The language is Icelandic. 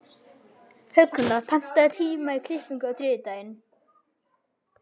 Högna, pantaðu tíma í klippingu á þriðjudaginn.